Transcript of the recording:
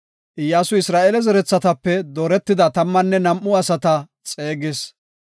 Iyyasuy Isra7eele zerethatape dooretida tammanne nam7u asata xeegis.